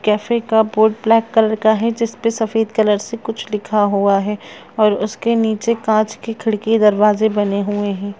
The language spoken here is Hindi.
कैफ़े का बोर्ड ब्लैक कलर का है जिसपे सफ़ेद कलर से कुछ लिखा हुआ है और उसके निचे कांच की खिड़की दरवाजे बने हुए है।